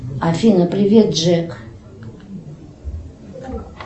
афина привет джек